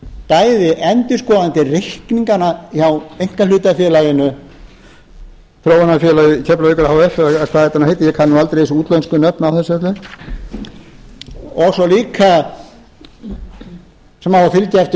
bæði endurskoðandi reikninganna hjá einkahlutafélaginu þróunarfélagi keflavíkur h f eða hvað þetta nú heitir ég kann nú aldrei þessi útlensku nöfn á þessu öllu og svo líka sem á að fylgja eftir